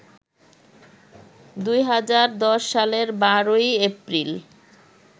২০১০ সালের ১২ এপ্রিল